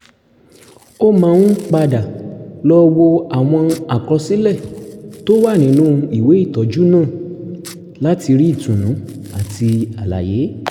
ó máa ń padà lọ wo àwọn àkọsílẹ̀ tó wà nínú ìwé ìtọ́jú náà láti rí ìtùnú àti àlàyé